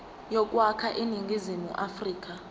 yokwakha iningizimu afrika